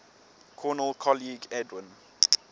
cornell colleague edwin